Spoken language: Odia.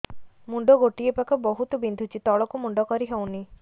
ମୁଣ୍ଡ ଗୋଟିଏ ପାଖ ବହୁତୁ ବିନ୍ଧୁଛି ତଳକୁ ମୁଣ୍ଡ କରି ହଉନି